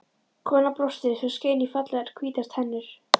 Konan brosti svo skein í fallegar hvítar tennur.